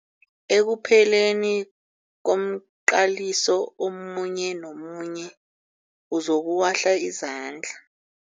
Ekupheleni komqaliso omunye nomunye uzokuwahla izandla.